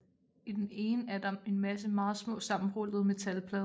I det ene er der en masse meget små sammenrullede metalplader